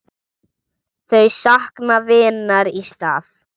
Þau sakna vinar í stað.